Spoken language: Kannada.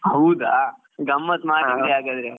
ಹೌದಾ. ಗಮ್ಮತ್ ಮಾಡಿದ್ರಿ ಹಾಗಾದ್ರೆ